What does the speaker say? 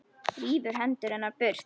Rífur hendur hennar burt.